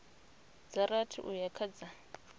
dza rathi uya kha dza